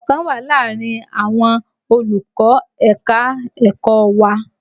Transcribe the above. Ìṣọ̀kan wà láàárín àwọn olùkọ́ ẹ̀ka-ẹ̀kọ́ wa